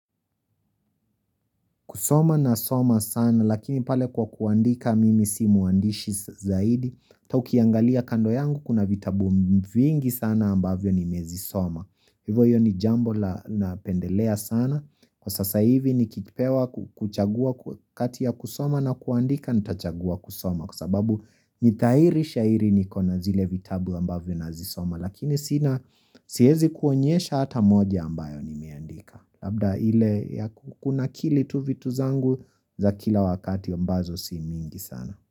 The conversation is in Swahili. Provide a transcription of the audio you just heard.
Kusoma nasoma sana, lakini pale kwa kuandika mimi si mwandishi zaidi. Hata ukiangalia kando yangu, kuna vitabu vingi sana ambavyo nimezisoma. Kwa hivyo hiyo ni jambo napendelea sana. Kwa sasa hivi nikipewa kuchagua kati ya kusoma na kuandika nitachagua kusoma. Kwa sababu nidhahiri shairi niko na zile vitabu ambavyo nazisoma. Lakini sina siwezi kuonyesha hata moja ambayo nimeandika. Labda ile ya kunakili tu vitu zangu za kila wakati ambazo si mingi sana.